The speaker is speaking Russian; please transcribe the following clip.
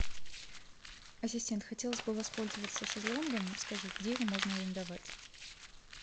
ассистент хотелось бы воспользоваться шезлонгом скажи где его можно арендовать